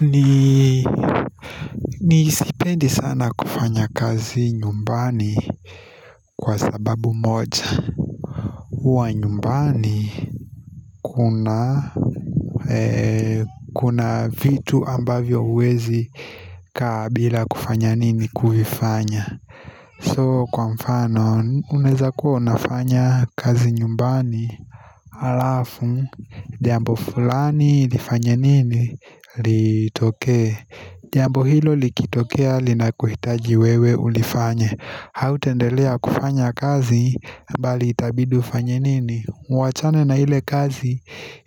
Mimi sipendi sana kufanya kazi nyumbani, kwa sababu moja huwa nyumbani kuna vitu ambavyo huwezi kaa bila kufanya nini, kuvifanya. So, kwa mfano unaweza kuwa unafanya kazi nyumbani Alafu jambo fulani lifanye nini Litokee jamboo hilo likitokea linakuhitaji wewe ulifanye Hautaendelea kufanya kazi bali itabidi ufanye nini, uachane na ile kazi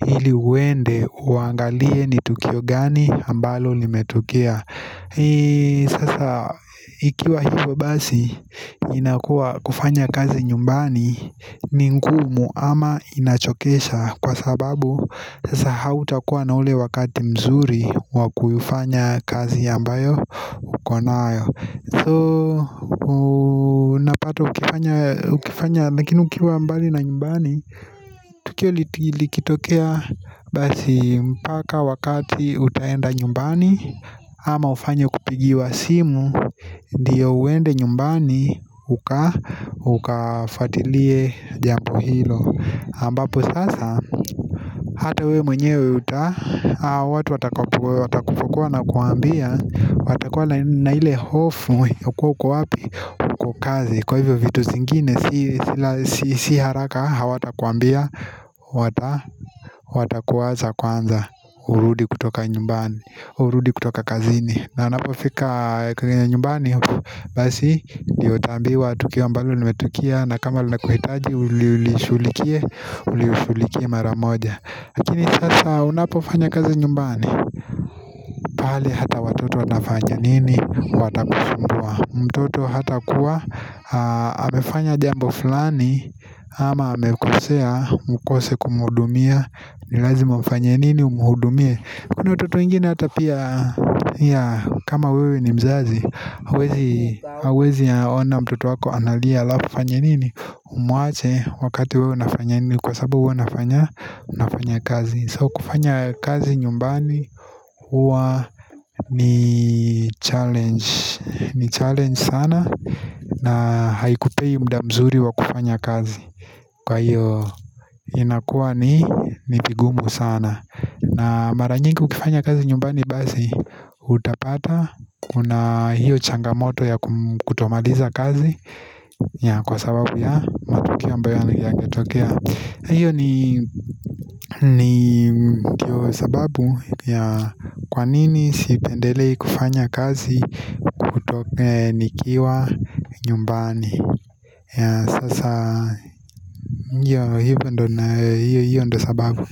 ili uende uangalie ni tukio gani ambalo limetokea Sasa ikiwa hivyo basi, inakuwa kufanya kazi nyumbani ni ngumu ama inachokesha kwa sababu, sasa hautakuwa na ule wakati mzuri wa kuifanya kazi ambayo uko nayo. So, unapata ukiwa mbali na nyumbani, tukio likitokea basi mpaka wakati utaenda nyumbani ama ufanye kupigiwa simu ndiyo uende nyumbani ukafuatilie jambo hilo ambapo sasa hata wewe mwenyewe watu watakupokuwa wanakwambia watakuwa na ile hofu ya kuwa uko wapi, uko kazi. Kwa hivyo, vitu zingine si haraka hawatakwambia, watakuacha kwanza Urudi kutoka nyumbani, urudi kutoka kazini. Na unapofika kwenye nyumbani Basi ndio utaambiwa tukio ambalo limetokea na kama linakuhitaji ulishughulikie, ulishughulikie mara moja. Lakini sasa unapofanya kazi nyumbani Pahali hata watoto watafanya nini, watakusumbua. Mtoto hatakuwa amefanya jambo fulani ama amekosea ukose kumhudumia, ni lazima ufanye nini? Umhudumie. Kuna watoto wengine hata pia kama wewe ni mzazi, hauwezi huwezi ona mtoto wako analia alafu ufanye nini Umwache wakati wewe unafanya nini, Kwa sababu wewe unafanya Unafanya kazi. So, kufanya kazi nyumbani, huwa ni challenge. Ni challenge sana. Na haikupei muda mzuri wa kufanya kazi. Kwa hiyo inakuwa ni vigumu sana. Na mara nyingi ukifanya kazi nyumbani basi utapata kuna hiyo changamoto ya kutomaliza kazi, yeah, kwa sababu ya matokea ambayo yameweza kutokea. Hiyo ni sababu ya kwa nini sipendelei kufanya kazi nikiwa nyumbani Sasa hiyo ndiyo sababu.